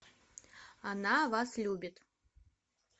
она вас любит